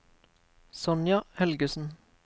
Sonja Helgesen